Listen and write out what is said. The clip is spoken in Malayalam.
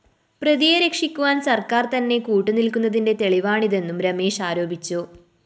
പ്രതിയെ രക്ഷിക്കുവാന്‍ സര്‍ക്കാര്‍തന്നെ കൂട്ടുനില്‍ക്കുന്നതിന്റെ തെളിവാണിതെന്നും രമേശ് ആരോപിച്ചു